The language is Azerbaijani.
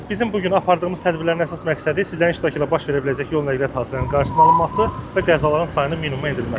Bizim bu gün apardığımız tədbirlərin əsas məqsədi sizin iştirakı ilə baş verə biləcək yol nəqliyyat hadisələrinin qarşısının alınması və qəzaların sayını minimuma endirilməsidir.